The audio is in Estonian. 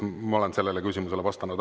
Ma olen sellele küsimusele vastanud.